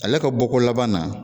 Ale ka bɔko laban na